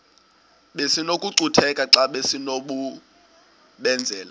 besinokucutheka xa besinokubenzela